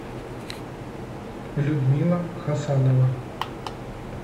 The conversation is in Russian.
людмила хасанова